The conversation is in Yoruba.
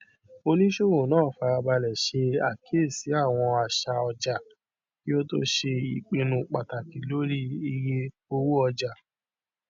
oníṣòwò náà fara balẹ ṣe àkíyèsí àwọn àṣà ọjà kí ó tó ṣe ìpinnu pàtàkì lórí iye owóọjà